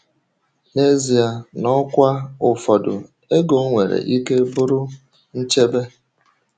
um N’ezie, n’ọkwa ụfọdụ, ego nwere ike bụrụ um nchebe.